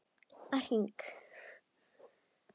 Að hring!